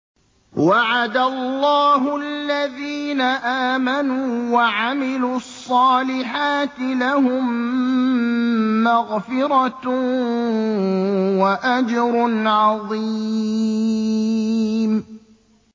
وَعَدَ اللَّهُ الَّذِينَ آمَنُوا وَعَمِلُوا الصَّالِحَاتِ ۙ لَهُم مَّغْفِرَةٌ وَأَجْرٌ عَظِيمٌ